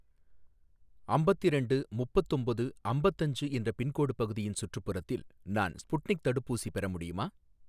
அம்பத்திரெண்டு முப்பத்தொம்போது அம்பத்தஞ்சு என்ற பின்கோடு பகுதியின் சுற்றுப்புறத்தில் நான் ஸ்புட்னிக் தடுப்பூசி பெற முடியுமா?